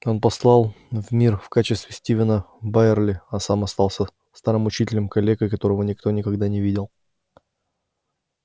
он послал в мир в качестве стивена байерли а сам остался старым учителем-калекой которого никто никогда не видел